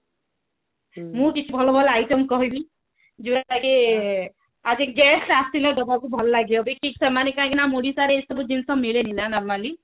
ମୁଁ କିଛି ଭଲ ଭଲ item କହିବି ଯୋଉଟା କି ଗେସ୍ଟ ଆସିଲେ ଦେବାକୁ ଭଲ ଲାଗିବ ଦେଖିକି ସେମାନେ କାହିଁକି ନା ଆମ ଓଡିଶା ରେ ଏସବୁ ଜିନିଷ ମିଳେନି ନା normally